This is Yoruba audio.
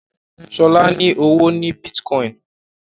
Shola ní ọwọ ní Bitcoin.